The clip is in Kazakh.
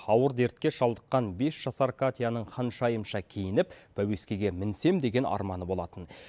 ауыр дертке шалдыққан бес жасар катяның ханшайымша киініп пәуескеге мінсем деген арманы болатын